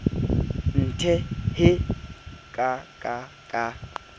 nthe hee ka ka ka